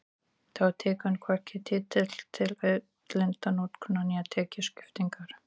Þá tekur hún hvorki tillit til auðlindanotkunar né tekjuskiptingar.